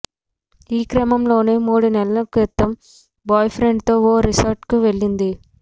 ఈ క్రమంలోనే మూడు నెలల క్రితం బాయ్ఫ్రెండ్తో ఓ రిసార్టు్కు వెళ్లింది